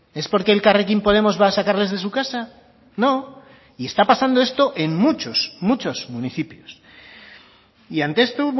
es porque elkarrekin podemos va a sacarles de su casa no y está pasando esto en muchos muchos municipios y ante esto